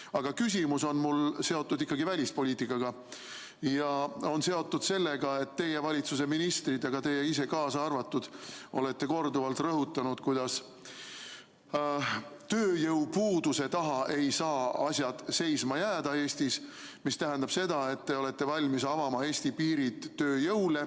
Aga küsimus on mul seotud ikkagi välispoliitikaga ja on seotud sellega, et teie valitsuse ministrid ja ka teie ise olete korduvalt rõhutanud, kuidas tööjõupuuduse taha ei saa asjad Eestis seisma jääda, mis tähendab seda, et te olete valmis avama Eesti piirid tööjõule.